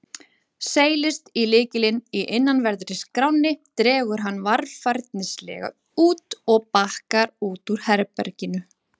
Seilist í lykilinn í innanverðri skránni, dregur hann varfærnislega út og bakkar út úr herberginu.